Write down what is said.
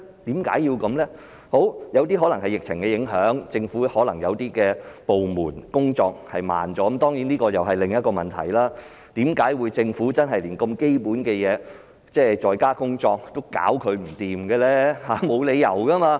有些個案可能受疫情影響，政府一些部門的工作緩慢了——當然這又是另一個問題，為甚麼政府連如此基本的"在家工作"也解決不到，沒理由吧？